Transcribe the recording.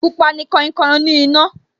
Pupa ni kainkain oní iná